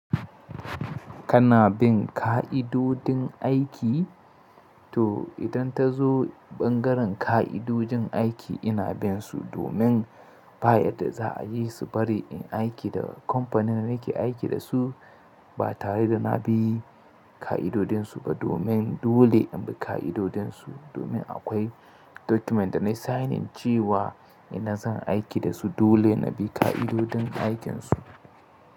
Kana bin ƙa'idodin aiki? To idan ta zo ɓangaren ƙa'idodin aiki ina bin su domin baya da za'a yi su bari in aiki da kamfanin nake aiki da su ba tare da na bi ƙa'idodinsu ba domin dole in bi ƙa'idodinsu domin akwai document da na signing cewa ina zan aiki da su dole na bi ƙa'idodin aikinsu.